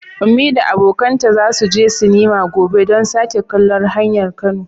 Ummi da abokanta za su je sinema gobe don sake kallon Hanyar Kano.